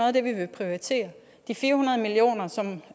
af det vi vil prioritere de fire hundrede million kr som